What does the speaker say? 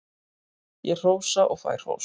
Ég hrósa og fæ hrós.